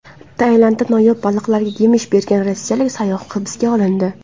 Tailandda noyob baliqlarga yemish bergan rossiyalik sayyoh hibsga olindi.